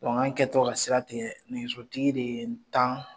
anw kɛ tɔ ka sira tigɛ nɛgɛsotigi de ye n tan